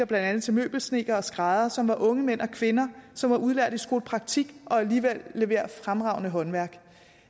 blandt andet til møbelsnedkere og skræddere som er unge mænd og kvinder som er udlært i skolepraktik og alligevel leverer fremragende håndværk